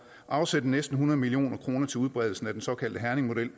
afsætte næsten hundrede million kroner til udbredelse af den såkaldte herningmodel